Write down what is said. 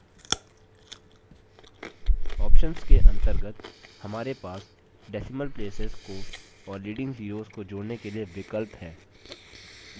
options के अंतर्गत हमारे पास decimal places decimal places को और leading zeroes को जोड़ने के लिए विकल्प है